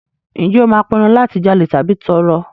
Ǹjẹ́ o máa pinnu láti jalè tàbí tọrọ?